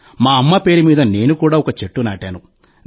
మా అమ్మ పేరు మీద నేను కూడా ఒక చెట్టు నాటాను